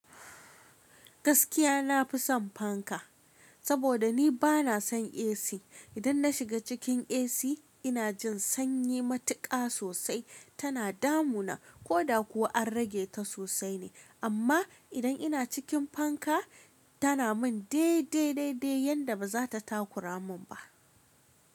Gaskiya na fi son fanka, saboda ni ba na son AC. Idan na shiga cikin AC ina jin sanyi matuƙa sosai tana damu na koda ko an rage ta sosai ne. Amma idan ina cikin fanka tana min dai dai yadda ba za ta takura mun ba.